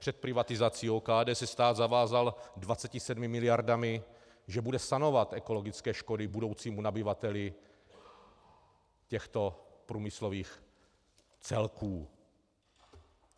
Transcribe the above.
Před privatizací OKD se stát zavázal 27 miliardami, že bude sanovat ekologické škody budoucímu nabyvateli těchto průmyslových celků.